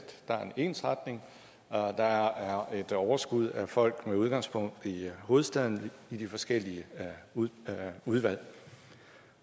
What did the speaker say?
der er en ensretning og at der er et overskud af folk med udgangspunkt i hovedstaden i de forskellige udvalg